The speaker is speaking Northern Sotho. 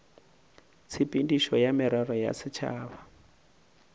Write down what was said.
tshepedišo ya merero ya setšhaba